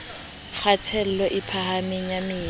kgatello e phahameng ya madi